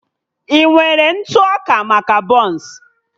I nwere ntụ ọka maka bọns?